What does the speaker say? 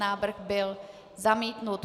Návrh byl zamítnut.